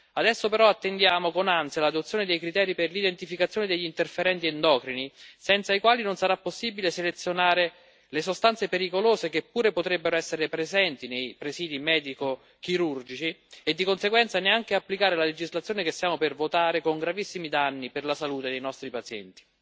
Adesso però attendiamo con ansia l'adozione dei criteri per l'identificazione degli interferenti endocrini, senza i quali non sarà possibile selezionare le sostanze pericolose, che pure potrebbero essere presenti nei presidi medico chirurgici, e di conseguenza neanche applicare la legislazione che stiamo per votare, con gravissimi danni per la salute dei nostri pazienti.